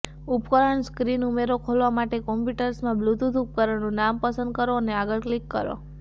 ઉપકરણ સ્ક્રીન ઉમેરો ખોલવા માટે કમ્પ્યુટર્સમાં બ્લુટુથ ઉપકરણનું નામ પસંદ કરો અને આગળ ક્લિક કરો